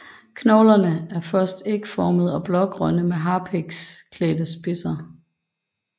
Koglerne er først ægformede og blågrønne med harpiksklædte spidser